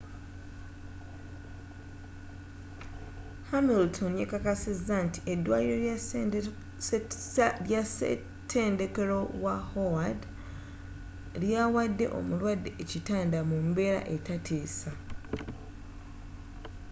hamilton yakakasiza nti edwaliro lya setendekero wa howard lyawade omulwade ekitanda mumbeera etatiisa